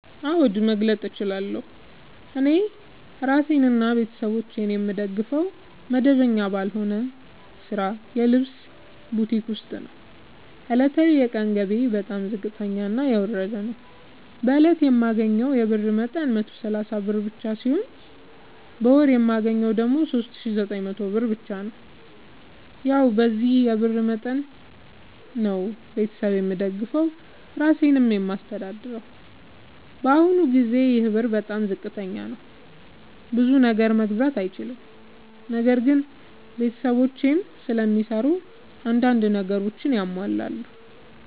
አዎድ መግለጥ እችላለሁ። እኔ እራሴንና ቤተሠቦቼን የምደግፈዉ መደበኛ ባልሆነ ስራ የልብስ ቡቲክ ዉስጥ ነዉ። ዕለታዊ የቀን ገቢየ በጣም ዝቅተኛና የወረደ ነዉ። በእለት የማገኘዉ የብር መጠን 130 ብር ብቻ ነዉ። በወር የማገኘዉ ደግሞ 3900 ብር ብቻ ነዉ። ያዉ በዚህ የብር መጠን መጠን ነዉ። ቤተሠብ የምደግፈዉ እራሴንም የማስተዳድረዉ በአሁኑ ጊዜ ይሄ ብር በጣም ዝቅተኛ ነዉ። ብዙ ነገር መግዛት አይችልም። ነገር ግን ቤተሰቦቼም ስለሚሰሩ አንዳንድ ነገሮችን ያሟላሉ።